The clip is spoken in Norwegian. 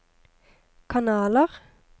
kanaler